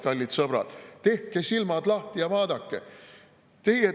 Kallid sõbrad, tehke silmad lahti ja vaadake!